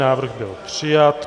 Návrh byl přijat.